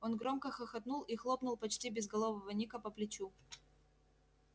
он громко хохотнул и хлопнул почти безголового ника по плечу